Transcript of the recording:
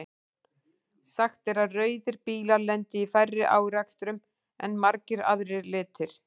Sagt er að rauðir bílar lendi í færri árekstrum en margir aðrir litir.